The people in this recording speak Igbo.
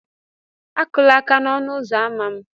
Akụla aka n'ọnụ ụzọ ámá m!